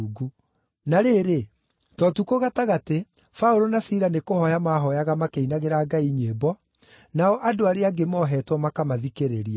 Na rĩrĩ, ta ũtukũ gatagatĩ, Paũlũ na Sila nĩkũhooya maahooyaga makĩinagĩra Ngai nyĩmbo, nao andũ arĩa angĩ mohetwo makamathikĩrĩria.